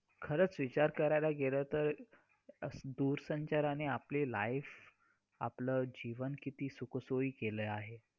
status वर महिलांचे photo ठेवले जातात परंतु स्त्रियांचे फक्त या एका दिवसापुरते मर्यादित आहे का प्रत्येक दिवस स्त्रीचा का असू शकत नाही.